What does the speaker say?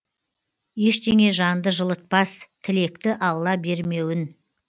ештеңе жанды жылытпас тілекті алла бермеуін